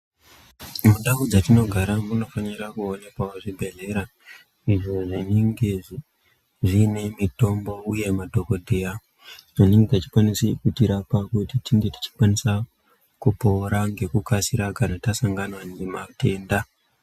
Mundau dzatinogara munofanirwa kuonekwawo zvibhedhlera izvo zvinenge zviine mitombo uye madhokodheya anenge echikwanise kutirapa kuti tinge tichikwanisa kupoora ngekukasira kana tasangana nematenda.